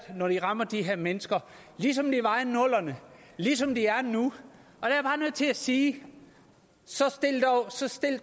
når de rammer de her mennesker ligesom de var i nullerne og ligesom de er nu og til at sige så